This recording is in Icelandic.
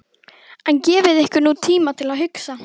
En gefið ykkur nú tíma til að hugsa.